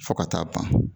Fo ka taa ban